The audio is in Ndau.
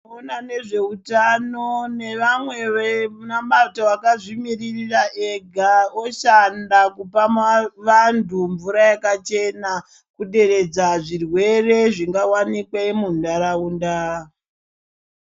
Vanoona nezveutano nemabato akazvimirira ega oshanda kupa vandu mvura yakachena kuderedzazvirwere zvingawanikwe mundaraunda.